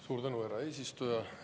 Suur tänu, härra eesistuja!